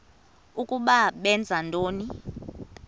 ukuba benza ntoni